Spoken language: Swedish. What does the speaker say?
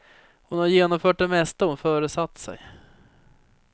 Hon har genomfört det mesta hon föresatt sig.